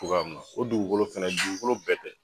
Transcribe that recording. Togoya mun na o dugukolo fɛnɛ dugukolo bɛɛ tɛ